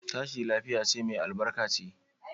Tashi lafiya ce mai albarka ce.